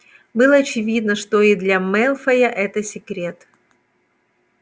было очевидно что и для мелфоя это секрет